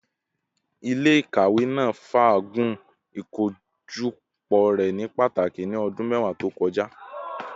Ile-ikawe naa faagun ikojọpọ rẹ ni pataki ni ọdun mẹwa to kọja